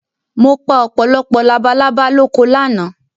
Mo pa ọ̀pọ̀lọpọ̀ labalábá lóko lánàá